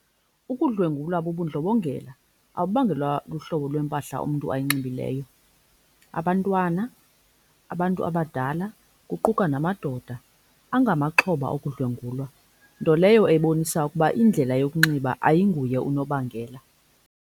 Ukudlwengulwa bubudlobongela, awubangelwa luhlobo lwempahla umntu ayinxibileyo. Abantwana, abantu abadala kuquka namadoda bangamaxhoba okudlwengulwa, nto leyo ebonisa ukuba indlela yokunxiba ayinguye unobangela.